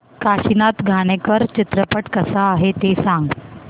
काशीनाथ घाणेकर चित्रपट कसा आहे ते सांग